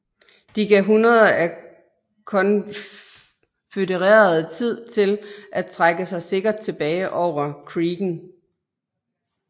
De gav hundreder af konfødererede tid til at trække sig sikkert tilbage over creeken